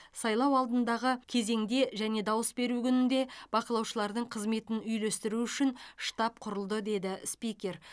сайлау алдындағы кезеңде және дауыс беру күнінде бақылаушылардың қызметін үйлестіру үшін штаб құрылды деді спикер